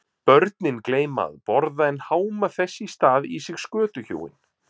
Börnin gleyma að borða en háma þess í stað í sig skötuhjúin.